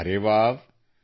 ಅರೆ ವ್ಹಾವ್